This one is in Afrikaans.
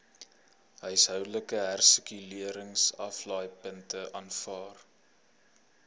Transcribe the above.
huishoudelike hersirkuleringsaflaaipunte aanvaar